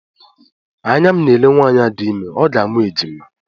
Anya m na-ele nwaanyị a dị ime, ọ ga-amụ ejima